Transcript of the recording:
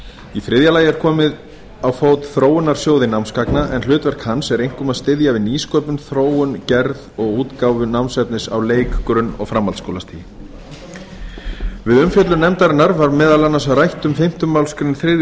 í þriðja lagi er komið á fót þróunarsjóði námsgagna en hlutverk hans er einkum að styðja við nýsköpun þróun gerð og útgáfu námsefnis á leik grunn og framhaldsskólastigi við umfjöllun nefndarinnar var meðal annars rætt um fimmtu málsgrein þriðju